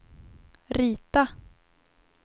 rita